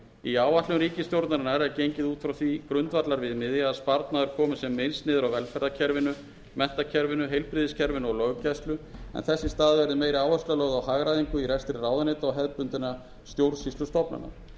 í áætlunum ríkisstjórnarinnar er gengið út frá því grundvallarviðmiði að sparnaður komi sem minnst niður á velferðarkerfinu menntakerfinu heilbrigðiskerfinu og löggæslu en þess í stað verði meiri áhersla lögð á hagræðingu í rekstri ráðuneyta og hefðbundinna stjórnsýslustofnana